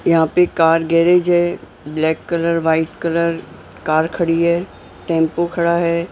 यहां पे car garage है black colour white colour car खड़ी है टेंपो खड़ा है।